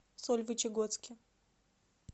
сольвычегодске